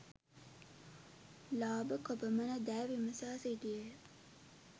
ලාභ කොපමණදැයි විමසා සිටියේය.